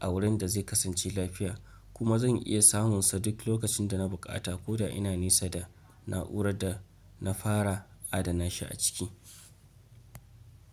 a wurin da zai kasance lafiya, kuma zan iya samunsa duk lokacin da na buƙata ko da ina nesa da na'urar da na fara adana shi a ciki.